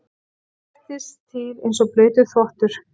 Skvettast til einsog blautur þvottur.